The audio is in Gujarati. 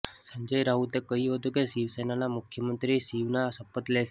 સંજય રાઉતે કહ્યું હતું કે શિવસેનાના મુખ્યમંત્રી શિવના શપથ લેશે